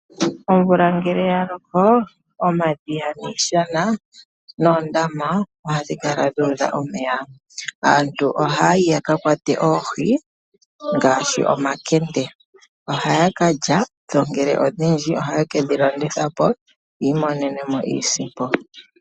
Omvula ngele ya loko omadhiya, iishana noondama ohadhi kala dhu udha omeya. Aantu ohaya yi ya ka kwate oohi ngaashi omakende. Ohaya ka lya dho ngele odhindji ohaye ke dhi landitha po yiimonene mo iisimpo.